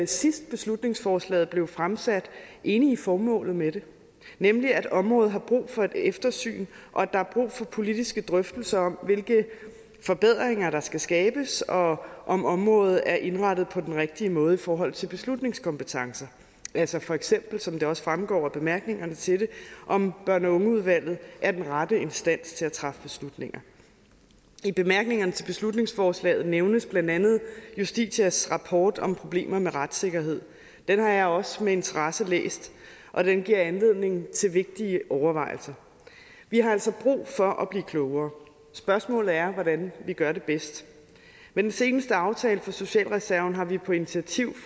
sidst beslutningsforslaget blev fremsat enige i formålet med det nemlig at området har brug for et eftersyn og at der er brug for politiske drøftelser om hvilke forbedringer der skal skabes og om området er indrettet på den rigtige måde i forhold til beslutningskompetencen altså feks som det også fremgår af bemærkningerne til det om børn og unge udvalget er den rette instans til at træffe beslutninger i bemærkningerne til beslutningsforslaget nævnes blandt andet justitias rapport om problemer med retssikkerheden den har jeg også med interesse læst og den giver anledning til vigtige overvejelser vi har altså brug for at blive klogere spørgsmålet er hvordan vi gør det bedst med den seneste aftale for socialreserven har vi på initiativ